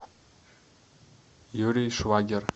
юрий швагер